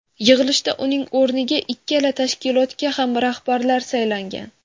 Yig‘ilshda uning o‘rniga ikkala tashkilotga ham rahbarlar saylangan.